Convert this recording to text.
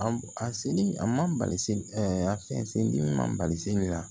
A seli a ma bali a fɛn sen man bali sen na